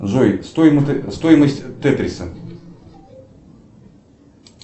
джой стоимость тетриса